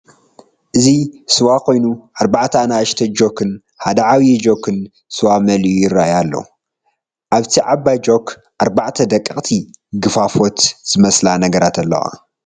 እዚ ስወ ኮይኑ አርባዕተ አናኡሽተይ ጆክን ሓደ ዓብይ ጆክን ስዋ መሊኦም ይረአዩ አለዉ። አብታ ዓባይ ጆክ አርባዕተ ደቀቅቲ ግፍፎት ዝመስላ ነገራትን አለዋ።